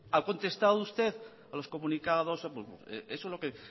ha contestado usted a los comunicados eso es lo que